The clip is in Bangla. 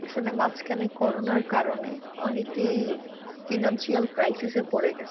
আসলে মাঝখানে করোনার কারনে অনেকেই financial crisis পরে গেছে।